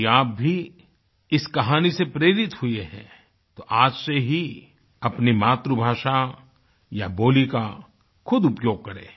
यदि आप भी इस कहानी से प्रेरित हुए हैं तो आज से ही अपनी मातृभाषा या बोली का खुद उपयोग करें